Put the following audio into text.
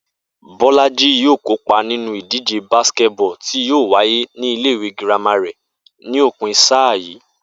Bó̩lájí yóò kópa nínú ìdíje basketball tí yóò wáyé nílé ìwé girama rè̩ ní òpin sáà yìí